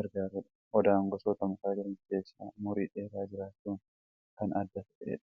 gargaarudha. Odaan gosoota mukaa jiran keessaa umurii dheeraa jiraachuudhan kan adda ta'e dha.